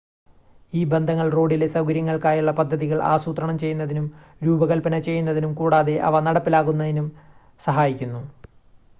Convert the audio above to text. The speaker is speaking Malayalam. ഈ ബന്ധങ്ങൾ റോഡിലെ സൗകര്യങ്ങൾക്കായുള്ള പദ്ധതികൾ ആസൂത്രണം ചെയ്യുന്നതിനും രൂപകൽപ്പന ചെയ്യുന്നതിനും കൂടാതെ അവ നടപ്പിലാക്കുന്നതിനും സഹായിക്കുന്നു